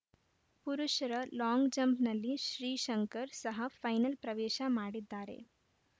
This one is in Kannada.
ಪುರುಷರ ಲಾಂಗ್‌ ಜಂಪ್‌ನಲ್ಲಿ ಶ್ರೀಶಂಕರ್‌ ಸಹ ಫೈನಲ್‌ ಪ್ರವೇಶ ಮಾಡಿದ್ದಾರೆ